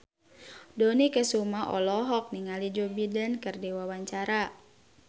Dony Kesuma olohok ningali Joe Biden keur diwawancara